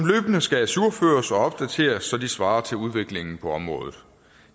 skal ajourføres og opdateres så de svarer til udviklingen på området